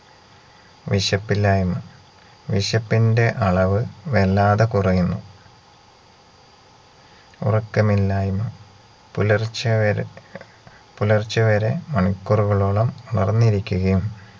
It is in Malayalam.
വിശപ്പില്ലായ്മ വിശപ്പിന്റെ അളവ് വല്ലാതെ കുറയുന്നു ഉറക്കമില്ലായ്മ പുലർച്ചവരെ പുലർച്ച വരെ മണിക്കൂറുകളോളം ഉണർന്നിരിക്കുകയും